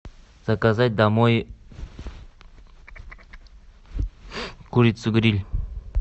заказать домой курицу гриль